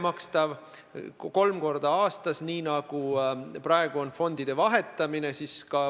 Väljuda saab kolm korda aastas, nii nagu praegu käib fondide vahetamine.